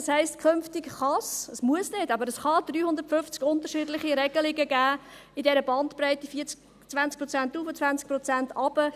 Das heisst, dass es künftig 350 verschiedene Regelung geben kann – es muss nicht, aber es kann – in der Bandbreite von 20 Prozent hinauf, 20 Prozent hinunter.